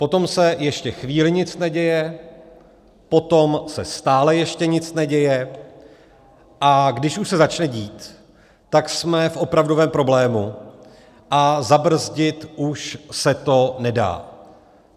Potom se ještě chvíli nic neděje, potom se stále ještě nic neděje, a když už se začne dít, tak jsme v opravdovém problému a zabrzdit už se to nedá.